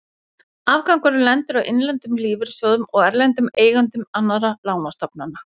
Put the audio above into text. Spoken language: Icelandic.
Afgangurinn lendir á innlendum lífeyrissjóðum og erlendum eigendum annarra lánastofnana.